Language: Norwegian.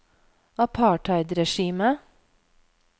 apartheidregimet